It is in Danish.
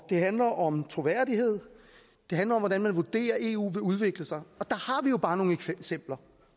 handler om troværdighed det handler om hvordan man vurderer eu vil udvikle sig og bare nogle eksempler